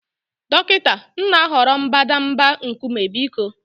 dọkịta, m na-ahọrọ mbadamba nkume biko